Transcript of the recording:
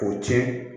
K'o tiɲɛ